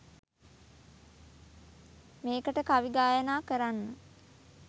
මේකට කවි ගායනා කරන්න